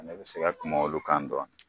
Ne bɛ se kuma olu kan dɔɔni